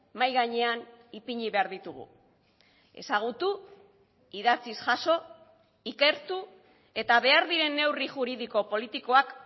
mahai gainean ipini behar ditugu ezagutu idatziz jaso ikertu eta behar diren neurri juridiko politikoak